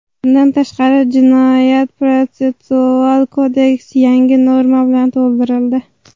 Bundan tashqari, Jinoyat-protsessual kodeks yangi norma bilan to‘ldirildi.